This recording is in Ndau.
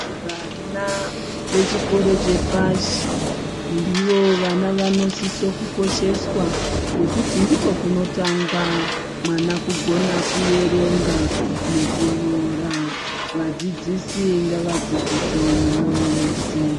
Vana vechikoro chepashi ndivo vana vanosise kukosheswa ngekuti ndiko kunotanga mwana kugona kuverenga nekunyora vadzidzisi ngavadzidzise nemoyo wose.